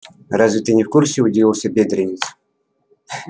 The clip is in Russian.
разве ты не в курсе удивился бедренец